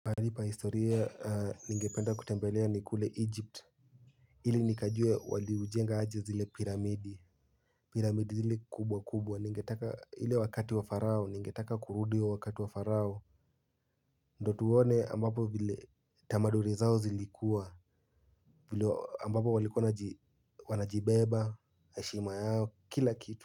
Halipa historia ningependa kutembelea ni kule Egypt ili nikajue waliujenga aje zile piramidi Piramidi zile kubwa kubwa ningetaka ile wakati wa farao ningetaka kurudi wakati wa farao ndo tuone ambapo vile tamaduri zao zilikuwa vile ambapo waliko wana wanajibeba heshima yao kila kitu.